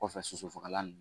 O kɔfɛ, soso fagalan